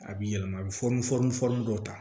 A bɛ yɛlɛma a bɛ fɔnɔn fɔn fɔn dɔw ta